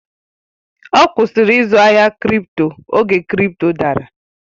Ọ kwụsịrị izu ahịa kripto oge kripto dara